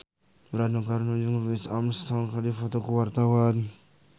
Rano Karno jeung Louis Armstrong keur dipoto ku wartawan